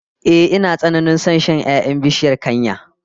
Ehh, ina tsananin son shan 'ya'yan bishiyar kanya